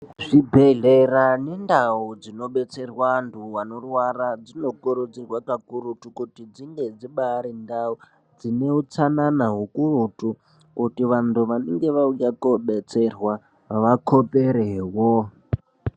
Zvibhehlera nendau dzinobetsera vantu vanorwara dzinokurudzirwa kakurutu kuti dzinge dzibaarindau dzine utsanana ukurutu kuti vantu vanenge vauya kobetserwa vakoperewo.